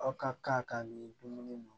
Aw ka k'a ka nin dumuni